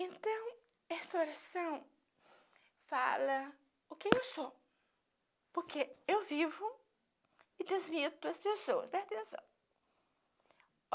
Então, essa oração fala o que eu sou, porque eu vivo e transmito as pessoas presta atenção.